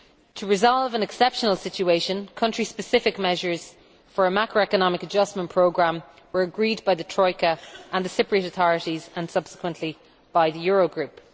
To resolve an exceptional situation, country specific measures for a macroeconomic adjustment programme were agreed by the Troika and the Cypriot authorities, and subsequently by the Eurogroup.